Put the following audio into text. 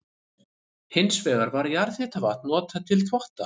Hins vegar var jarðhitavatn notað til þvotta.